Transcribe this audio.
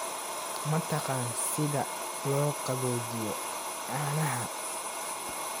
Ma taqaan sida loo qaboojiyo caanaha?